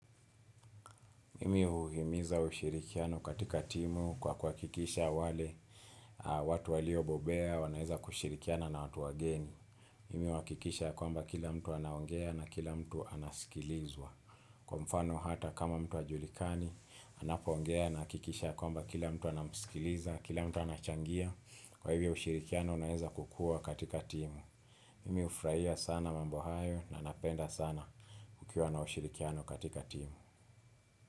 Mimi huhimiza ushirikiano katika timu kwa kwa uhakikisha wale watu waliobobea, wanaeza kushirikiana na watu wageni. Mimi huhakikisha kwamba kila mtu anaongea na kila mtu anasikilizwa. Kwa mfano hata kama mtu ajulikani, anapo ongea nahakikisha kwamba kila mtu anasikiliza, kila mtu anachangia. Kwa hivyo ushirikiano unaeza kukuwa katika timu. Mimi hufurahia sana mambo hayo na napenda sana kukiwa na ushirikiano katika timu.